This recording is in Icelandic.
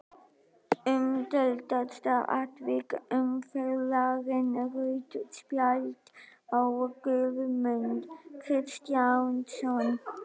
Umdeildasta atvik umferðarinnar: Rautt spjald á Guðmund Kristjánsson?